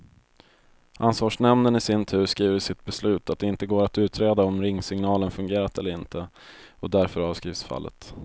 Ansvarsnämnden i sin tur skriver i sitt beslut att det inte går att utreda om ringsignalen fungerat eller inte, och därför avskrivs fallet.